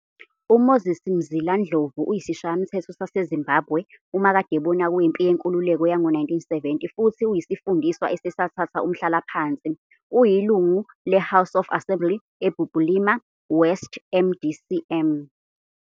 UMoses Mzila Ndlovu uyisishayamthetho saseZimbabwe, umakadebona wempi yenkululeko yango-1970 futhi uyisifundiswa esesathatha umhlalaphansi. Uyilungu le- House of Assembly eBulilima West, MDC-M.